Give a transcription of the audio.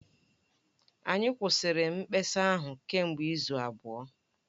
Anyị kwụsịrị mkpesa ahụ kemgbe izu abụọ